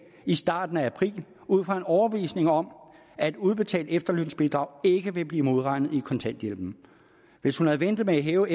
i starten af april ud fra en overbevisning om at udbetalt efterlønsbidrag ikke ville blive modregnet i kontanthjælpen hvis hun havde ventet med at hæve